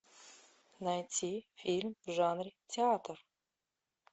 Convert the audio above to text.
найти фильм в жанре театр